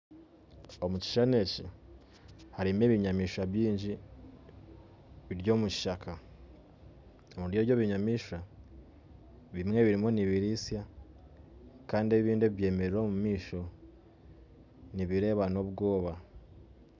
Omu kishuushani eki harimu ebinyamishwa baingi biri omu kishaaka omuri eby'ebinyamishwa bimwe birimu nibiristya kandi ebindi ebibyemerire omumaisho nibireeba n'obwooba